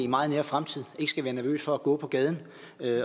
meget nær fremtid ikke skal være nervøs for at gå på gaden